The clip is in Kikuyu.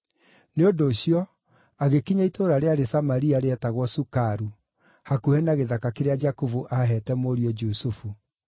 Nĩ ũndũ ũcio, agĩkinya itũũra rĩarĩ Samaria rĩetagwo Sukaru, hakuhĩ na gĩthaka kĩrĩa Jakubu aaheete mũriũ Jusufu.